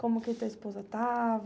Como que tua esposa tava?